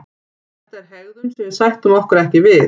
Þetta er hegðun sem við sættum okkur ekki við